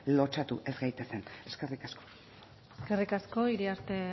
lotsatu ez gaitezen eskerrik asko eskerrik asko iriarte